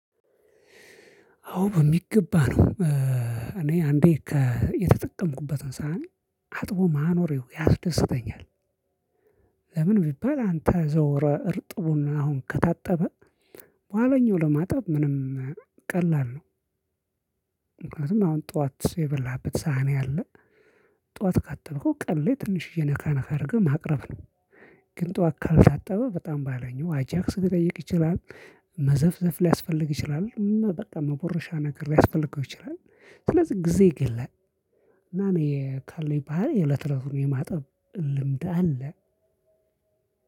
አዎ በሚገባ ነው። እኔ አንዴ የተጠቀምኩበትን ሳሀን አጥቦ ማኖር ያስደስተኛል። ለምን ቢባል አንተ እርጥቡን አሁን ከታጠበ በኋለኛው ለማጠብ ምንም ቀላል ነው። ምክንያቱም አሁን ጠዋት የበላህበት ሳህን ያለ ጠዋት ካጠብከው ቀን ላይ ትንሽዬ ነካ ነካ አድርገህ ማቅረብ ነው። ግን ጠዋት ካልታጠበ በጣም ባሀይለኛው አጃክስ ሊጠይቅ ይችላል። መዘፍዘፍ ሊያስፈልግ ይችላል በቃ መቦረሻ ነገር ሊያስፈልገው ይችላል። ስለዚህ ጊዜ ይገድላል። እና እኔ ካለኝ ባህል የለትለቱን የማጠብ ልምድ አለ።